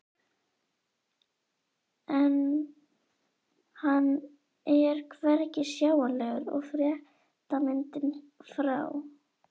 En hann er hvergi sjáanlegur og fréttamyndin frá